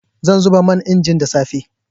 Zan zuba man inji da safe.